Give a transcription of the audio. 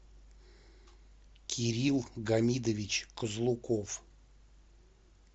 кирилл гамидович козлуков